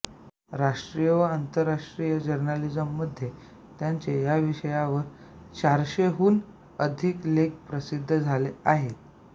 राष्ट्रीय व आंतरराष्ट्रीय जर्नल्समध्ये त्यांचे या विषयांवर चारशेहून अधिक लेख प्रसिद्ध झाले आहेत